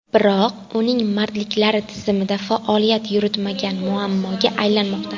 Biroq uning madridliklar tizimida faoliyat yuritmagani muammoga aylanmoqda.